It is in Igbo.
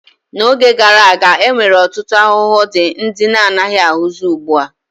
N'oge gara aga, e nwere ọtụtụ ahụhụ dị ndị anaghị ahụzi ugbua.